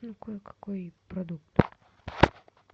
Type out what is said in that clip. ну кое какой продукт